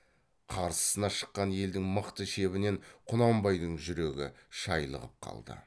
қарсысына шыққан елдің мықты шебінен құнанбайдың жүрегі шайлығып қалды